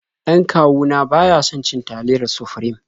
Dan kawu na ba ya son cin taliyar Sufrim.